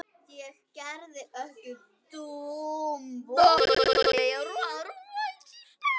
Ég er ekki dómbær.